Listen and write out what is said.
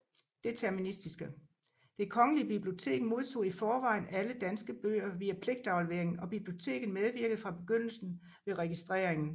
Det Kongelige Bibliotek modtog i forvejen alle danske bøger via pligtafleveringen og biblioteket medvirkede fra begyndelsen ved registreringen